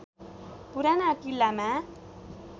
पुराना किल्लामा